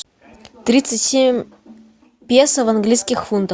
тридцать семь песо в английских фунтах